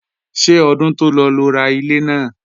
Ṣé ọdún tó lọ lo ra ilé náà?